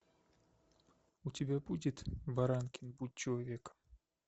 у тебя будет баранкин будь человеком